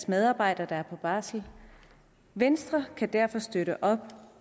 medarbejdere der er på barsel venstre kan derfor støtte op